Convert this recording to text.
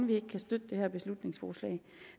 vi ikke kan støtte det her beslutningsforslag